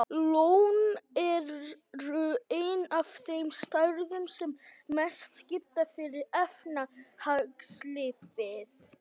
Laun eru ein af þeim stærðum sem mestu skipta fyrir efnahagslífið.